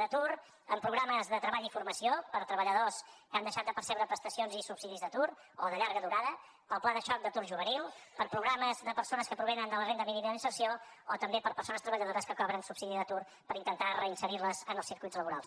d’atur amb programes de treball i formació per a treballadors que han deixat de percebre prestacions i subsidis d’atur o de llarga durada per al pla de xoc d’atur juvenil per a programes de persones que provenen de la renda mínima d’inserció o també per a persones treballadores que cobren subsidi d’atur per intentar reinserir les en els circuits laborals